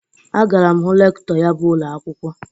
Agara m hụ Rektọ ya bụ ụnọakwụkwọ.